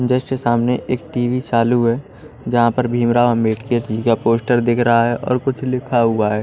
Just सामने एक TV चालू है जहां पर भीमराव अंबेडकर जी का पोस्टर दिख रहा है और कुछ लिखा हुआ है।